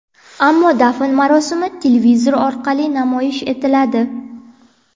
ammo dafn marosimi televizor orqali namoyish etiladi.